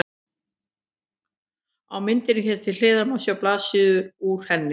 Á myndinni hér til hliðar má sjá blaðsíðu úr henni.